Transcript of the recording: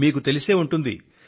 మీకు తెలిసే ఉంటుంది